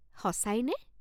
সঁচাইনে?